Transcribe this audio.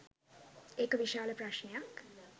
ඒක විශාල ප්‍රශ්නයක්.